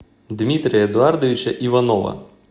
дмитрия эдуардовича иванова